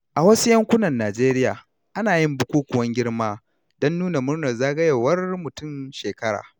A wasu yankunan Najeriya, ana yin bukukuwan girma don nuna murnar zagayowar mutum shekara.